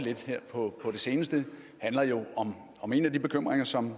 på det seneste handler jo om en af de bekymringer som